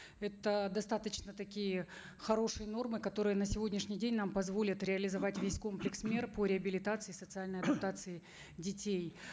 это достаточно такие хорошие нормы которые на сегодняшний день нам позволят реализовать весь комплекс мер по реабилитации социальной адаптации детей